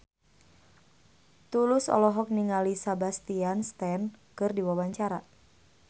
Tulus olohok ningali Sebastian Stan keur diwawancara